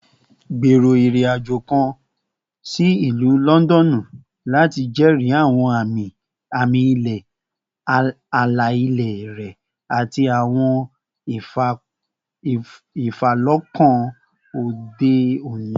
Gbero irin-ajo kan si Ilu Lọndọnu lati jẹri awọn ami-ilẹ ala-ilẹ rẹ ati awọn ifalọkan ode oni